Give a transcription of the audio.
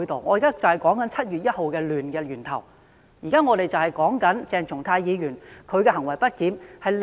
我現在就是在說明7月1日動亂的源頭，就是說鄭松泰議員的行為不檢。